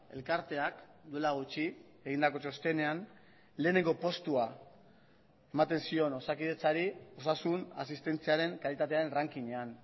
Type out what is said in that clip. elkarteak duela gutxi egindako txostenean lehenengo postua ematen zion osakidetzari osasun asistentziaren kalitatearen ranking ean